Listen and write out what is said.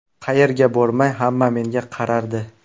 Qayerga bormay hamma menga qarardi.